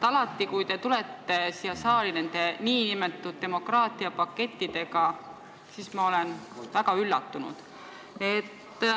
Alati, kui te tulete siia saali nende nn demokraatiapakettidega, olen ma väga üllatunud.